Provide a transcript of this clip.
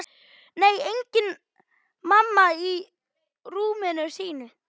Nei, engin mamma í rúminu sínu.